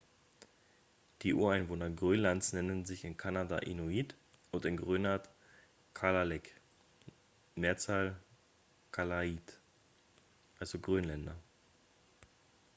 die ureinwohner grönlands nennen sich in kanada inuit und in grönland kalaalleq mehrzahl kalaallit also grönländer